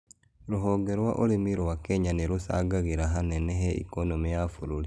Rũhonge rwa ũrĩmi rwa Kenya nĩ rũcangagĩra hanene he ikonomĩya bũrũri